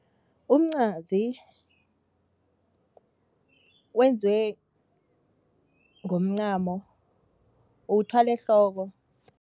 Umncwazi wenziwe ngomncamo, uwuthwala ehloko.